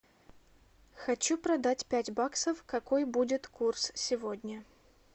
хочу продать пять баксов какой будет курс сегодня